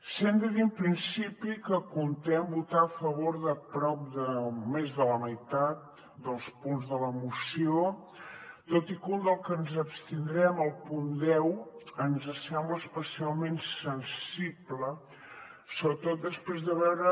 sí que hem de dir en principi que comptem votar a favor de prop de més de la meitat dels punts de la moció tot i que un dels que ens abstindrem el punt deu ens sembla especialment sensible sobretot després de veure